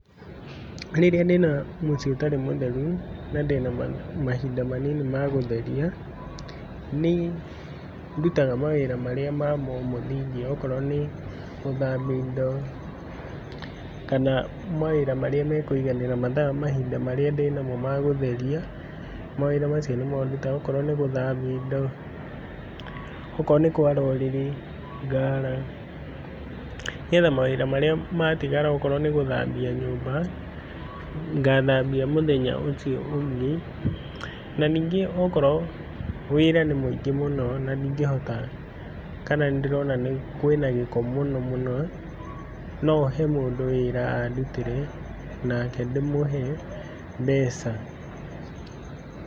Rĩrĩa ndĩna mũciĩ ũtarĩ mũtheru na ndĩna mahinda manini ma gũtheria, nĩndutaga mawĩra marĩa ma o okorwo nĩ gũthambia indo kana mawĩra marĩa mekwĩiganĩra mathaa mahinda marĩa ndĩnamo ma gũtheria, mawĩra macio nĩmo ndutaga akorwo nĩ gũthambia indo, akorwo nĩ kwara ũrĩrĩ ngara, nĩgetha mawĩra marĩa matigara akorwo nĩ gũthambia nyũmba ngathambia mũthenya ũcio ũngĩ, na ningĩ okorwo wĩra nĩ mwĩingĩ mũno na ndingĩhota kana nĩndĩrona kwĩna gĩko mũno mũno, nohe mũndũ wĩra andutĩre nake ndĩmũhe mbeca.